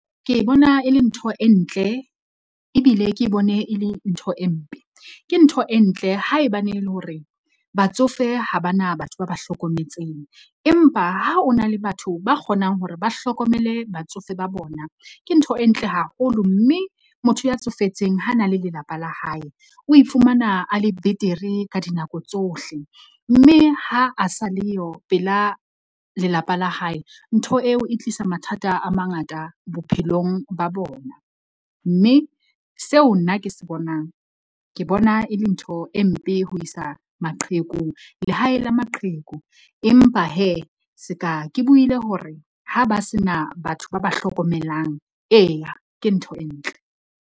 Ke e bona e le ntho e ntle ebile ke bone e le ntho e mpe. Ke ntho e ntle haebane e le hore batsofe ha ba na batho ba ba hlokometseng. Empa ha o na le batho ba kgonang hore ba hlokomele batsofe ba bona. Ke ntho e ntle haholo mme motho ya tsofetseng ha na le lelapa la hae o ifumana a le betere ka dinako tsohle. Mme ha a sa leyo pela lelapa la hae, ntho eo e tlisa mathata a mangata bophelong ba bona. Mme seo nna ke se bonang ke bona e le ntho e mpe ho isa maqheku lehaeng la maqheku. Empa seka ke buile hore ha ba se na batho ba ba hlokomelang, eya ke ntho e ntle.